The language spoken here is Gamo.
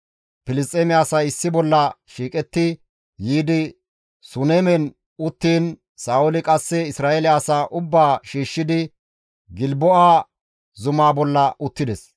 Filisxeeme asay issi bolla shiiqetti yiidi Sunemen uttiin Sa7ooli qasse Isra7eele asaa ubbaa shiishshidi Gilbo7a zumaa bolla uttides.